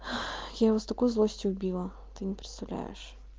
я его с такой злостью убила ты не представляешь